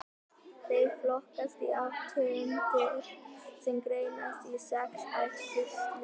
Þeir flokkast í átta tegundir sem greinast í sex ættkvíslir.